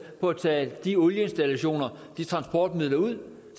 for at tage de olieinstallationer de transportmidler ud